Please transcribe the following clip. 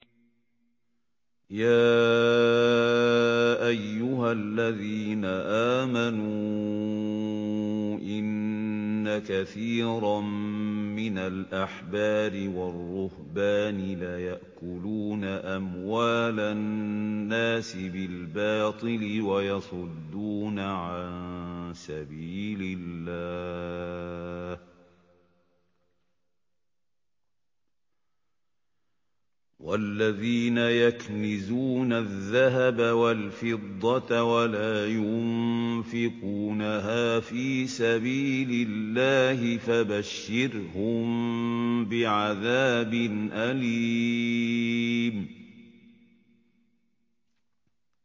۞ يَا أَيُّهَا الَّذِينَ آمَنُوا إِنَّ كَثِيرًا مِّنَ الْأَحْبَارِ وَالرُّهْبَانِ لَيَأْكُلُونَ أَمْوَالَ النَّاسِ بِالْبَاطِلِ وَيَصُدُّونَ عَن سَبِيلِ اللَّهِ ۗ وَالَّذِينَ يَكْنِزُونَ الذَّهَبَ وَالْفِضَّةَ وَلَا يُنفِقُونَهَا فِي سَبِيلِ اللَّهِ فَبَشِّرْهُم بِعَذَابٍ أَلِيمٍ